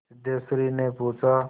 सिद्धेश्वरीने पूछा